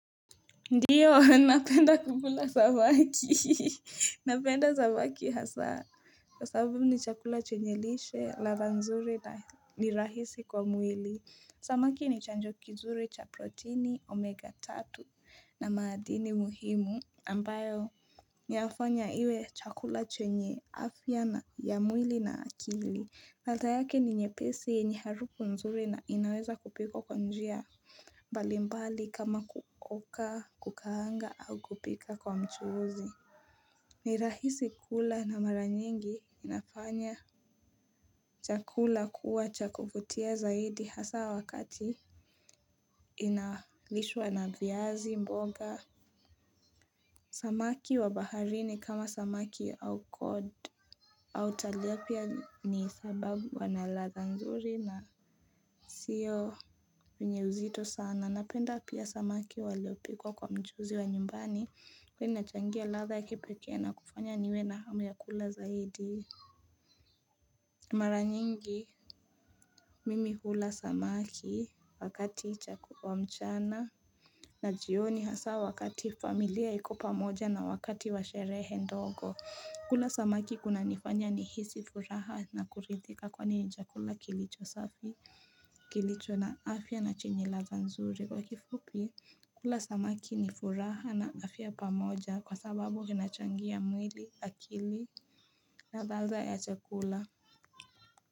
Ndiyo, napenda kukula samaki, napenda samaki hasa, kwa sababu ni chakula chenye lishe, radha nzuri na ni rahisi kwa mwili, samaki ni chanjoki nzuri cha proteini omega tatu na maadini muhimu, ambayo inafanya iwe chakula chenye afya na ya mwili na akili, malta yake ni nyepesi yenye harufu nzuri na inaweza kupiko kwa njia, mbalimbali kama kuoka, kukaanga au kupika kwa mchuuzi ni rahisi kula na mara nyingi inafanya chakula kuwa cha kuvutia zaidi hasa wakati inalishwa na viazi mboga Samaki wa baharini kama samaki au kod au talia pia ni sababu wanalaza nzuri na sio unye uzito sana Napenda pia samaki waliopikwa kwa mchuzi wa nyumbani Kwa ni nachangia radha ya kipekee na kufanya niwe na hamu ya kula zaidi Mara nyingi mimi hula samaki wakati chakula mchana na jioni hasa wakati familia ikupa moja na wakati wa sherehe ndogo kula samaki kuna nifanya ni hisi furaha na kuridhika kwa ni chakula kilicho safi Kilicho na afya na chinyilaza nzuri Kwa kifupi kula samaki ni furaha na afya pamoja Kwa sababu ginachangia mwili akili na chakula ya chakula.